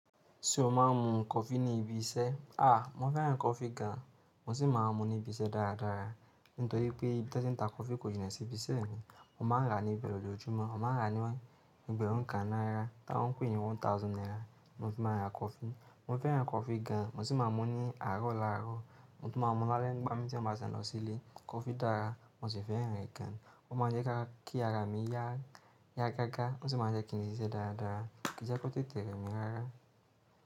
Ṣé o máa ń mu coffee ní ibi iṣẹ́? A! Mo fẹ́ràn coffee gan, mo sì máa ń mu ní ibi iṣẹ́ dára dára, nítorí pé ibi tí wọ́n ń ta coffee kò jìnà sí ibi iṣẹ́ mi. Wọ́n máa ń rà á ní ibe ni ojoojumọ́, wọ́n máa ń rà á ní ẹgbẹ̀rún kan náírà, tí wọ́n ń pè é ní one thousand naira. Na fi máa ń ra coffee, mo fẹ́ràn coffee gan, mo sì máa ń mu ní àárọ̀ lárọ, mo tún máa ń mu lále nigba mi tí mo bá ti n lọ sílé. Coffee dára, mo sì fẹ́ràn rẹ̀ gan, ó máa ń jẹ́ kí ara mi yá, yá gágá, o sì máa jẹ́ kí n le ṣiṣẹ́ dára dára, kí i je kó tètè rẹ mí rára.